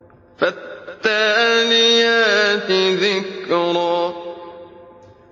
فَالتَّالِيَاتِ ذِكْرًا